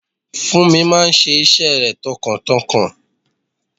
Funmi máa ṣe iṣẹ́ rẹ̀ tọkàntọkàn.